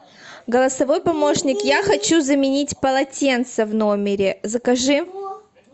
голосовой помощник я хочу заменить полотенце в номере закажи